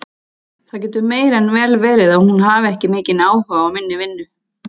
Það getur meir en vel verið að hún hafi ekki mikinn áhuga á minni vinnu.